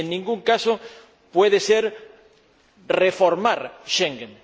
Y en ningún caso puede ser reformar Schengen.